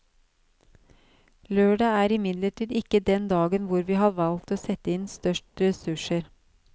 Lørdag er imidlertid ikke den dagen hvor vi har valgt å sette inn størst ressurser.